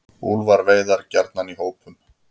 Úlfar veiða gjarnan í hópum.